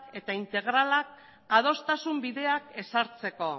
eta integralak adostasun bideak ezartzeko